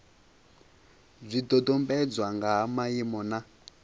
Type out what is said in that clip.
zwidodombedzwa nga ha maimo na